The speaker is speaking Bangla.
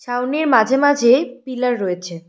ছাউনির মাঝে মাঝে পিলার রয়েছে।